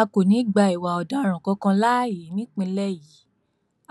a kò ní í gba ìwà ọdaràn kankan láàyè nípínlẹ yìí